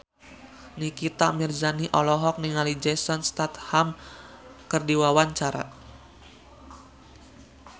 Nikita Mirzani olohok ningali Jason Statham keur diwawancara